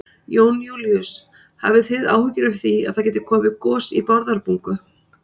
Jón Júlíus: Hafi þið áhyggjur af því að það gæti komið gos í Bárðarbungu?